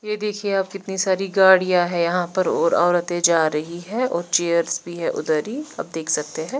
ये देखिये अब कितनी सारी गाड़िया है यहाँ पर और ओरते जा रही है और चेयर्स भी है उधर ही आप देख सकते है।